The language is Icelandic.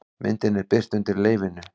Myndin er birt undir leyfinu